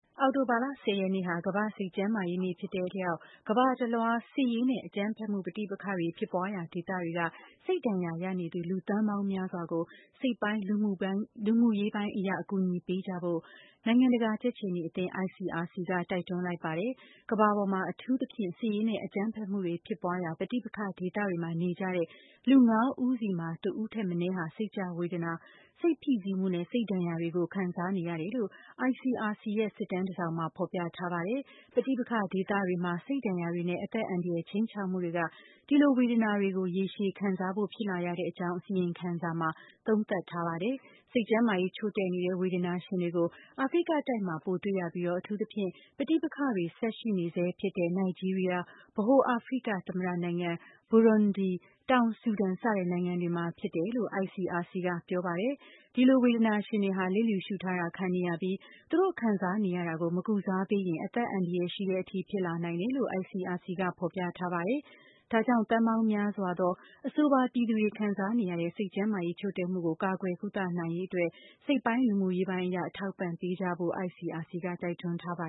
အောက်တိုဘာလ (၁၀) ရက်နေ့ဟာ ကမ္ဘာ့ စိတ်ကျန်းမာရေးနေ့ ဖြစ်တဲ့ အလျောက် ကမ္ဘာတလွှား စစ်ရေးနဲ့ အကြမ်းဖက်မှု ပဋိပက္ခ တွေ ဖြစ်ပွားရာဒေသတွေက စိတ်ဒဏ်ရာရနေသူ လူသန်းပေါင်းများစွာကို စိတ်ပိုင်း၊ လူမှုရေးပိုင်း အရ အကူအညီပေးကြဖို့ နိုင်ငံတကာ ကြက်ခြေနီ အသင်း ICRC က တိုက်တွန်းလိုက်ပါတယ်။ ကမ္ဘာပေါ်မှာ အထူးသဖြင့် စစ်ရေးနဲ့ အကြမ်းဖက်မှုတွေဖြစ်ပွားရာ ပဋိပက္ခ ဒေသတွေမှာနေကြတဲ့ လူ ၅ ဦးတိုင်းမှာ တဦးထက်မနည်းဟာ စိတ်ကျဝေဒနာ၊ စိတ်ဖိစီးမှုနဲ့ စိတ်ဒဏ်ရာတွေကို ခံစား နေကြရတယ်လို့ ICRC ရဲ့ စစ်တမ်းတစောင်မှာ ဖေါ်ပြထားပါတယ်။ ပဋိပက္ခဒေသတွေက ရေရှည်စိတ်ဒဏ်ရာတွေနဲ့ အသက်အန္တရာယ် ခြိမ်းခြောက်မှုတွေက ဒီလိုဝေဒနာ ရေရှည်ခံစားဖို့ ဖြစ်လာ ရကြောင်း အစီရင်ခံစာမှာ သုံးသပ်ထားပါတယ်။ စိတ်ကျန်းမာရေးချို့တဲ့နေတဲ့ ဝေဒနာရှင်တွေကို အာဖရိတိုက်မှာ ပိုတွေ့ရပြီး၊ အထူးသဖြင့် ပဋိပက္ခတွေ ဆက်ရှိနေဆဲဖြစ်တဲ့ နိုင်ဂျီးရီးယား၊ ဗဟိုအာဖရိက သမ္မတနိုင်ငံ ၊ ဘူရွန်းဒီး ၊ တောင်ဆူဒန် စတဲ့နိုင်ငံတွေမှာ ဖြစ်တယ်လို့ ICRC ကပြောပါတယ်။ ဒီလို ဝေဒနာရှင်တွေဟာ လစ်လျူရှု့ထားတာခံနေရပြီး သူတို့ ခံစားနေရတာကို မကုစားပေးရင် အသက်အန္တရာယ်ရှိတဲ့ အထိဖြစ်လာနိုင်တယ်လို့ ICRC ကဖော်ပြထားပါတယ်။ ဒါကြောင့် သန်းပေါင်းများစွာသော အဆိုပါ ပြည်သူတွေ ခံစားနေရတဲ့ စိတ်ကျန်းမာရေးချို့တဲ့မှုကို ကာကွယ်ကုသနိုင်ရေးအတွက် စိတ်ပိုင်း၊ လူမှုရေးပိုင်းအရ အထောက်အပံ့ ပေးကြဖို့ကိုလည်း ICRC ကတိုက်တွန်းထားပါ